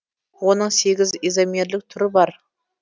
оның сегіз изомерлік түрі бар